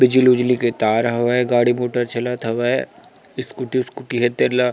बिजली-विजली के तार हवे गाड़ी मोटर चलत हवे स्कूटी वस्कूटि हे तेल ला--